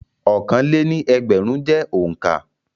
Ọ̀kanlé-ní-ẹgbẹ̀rún jẹ́ òǹkà.